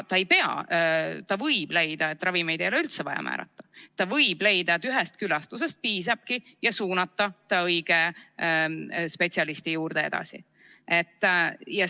Ta võib leida, et ravimeid ei ole üldse vaja määrata, ta võib leida, et ühest külastusest piisabki, ja suunata lapse õige spetsialisti juurde.